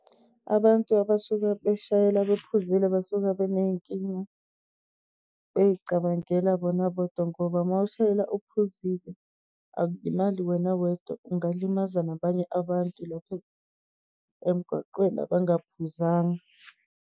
Abantu abasuke beshayela bephuzile, basuke beney'nkinga, beyicabangela bona bodwa. Ngoba uma ushayela uphuzile akulimali wena wedwa, ungalimaza nabanye abantu lapha emgwaqweni abaphuzanga.